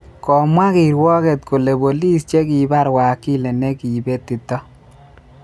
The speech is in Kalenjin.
Komwa kirwoket kole bolis che kibar wakili ne ki betito